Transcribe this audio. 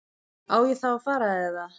Á ég þá að fara. eða?